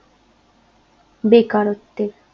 বেকারত্বের